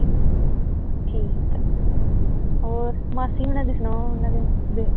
ਠੀਕ ਹੈ, ਮਾਸੀ ਹੋਰਾਂ ਦੀ ਸੁਣਾਓ, ਓਹਨਾ ਦੀ